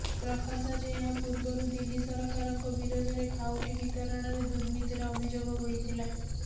ପ୍ରକାଶ ଯେ ଏହା ପୂର୍ବରୁ ଦିଲ୍ଲୀ ସରକାରଙ୍କ ବିରୋଧରେ ଖାଉଟି ବିତରଣରେ ଦୁର୍ନୀତିର ଅଭିଯୋଗ ହୋଇଥିଲା